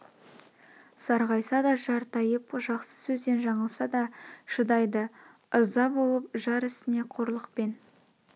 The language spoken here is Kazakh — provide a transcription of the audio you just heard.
сарғайса да жар тайып жақсы сөзден жаңылса да шыдайды ырза болып жар ісіне қорлық пен